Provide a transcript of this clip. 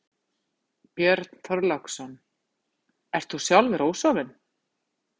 Björn Þorláksson: Ert þú sjálfur ósofinn?